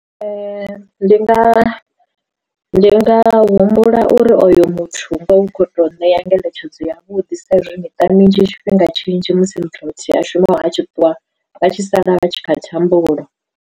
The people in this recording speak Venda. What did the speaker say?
Ndi nga ndi nga humbula uri oyo muthu ngoho hu khou to ṋea ngeletshedzo ya vhuḓi sa izwi miṱa minzhi tshifhinga tshinzhi musi muthu a shuma a tshi ṱuwa vha tshi sala vha tshi kha thambulo.